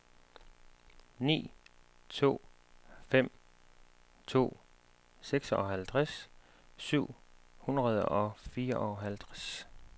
ni to fem to seksoghalvtreds syv hundrede og fireoghalvtreds